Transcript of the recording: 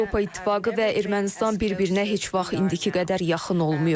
Avropa İttifaqı və Ermənistan bir-birinə heç vaxt indiki qədər yaxın olmayıb.